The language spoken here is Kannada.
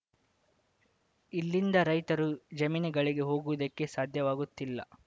ಇಲ್ಲಿಂದ ರೈತರು ಜಮೀನುಗಳಿಗೆ ಹೋಗುವುದಕ್ಕೆ ಸಾಧ್ಯವಾಗುತ್ತಿಲ್ಲ